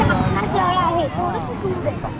जळ आहे थोडस दूर आहे.